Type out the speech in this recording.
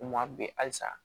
U ma bi halisa